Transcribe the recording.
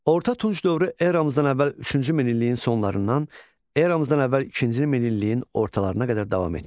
Orta Tunc dövrü eramızdan əvvəl üçüncü minilliyin sonlarından eramızdan əvvəl ikinci minilliyin ortalarına qədər davam etmişdi.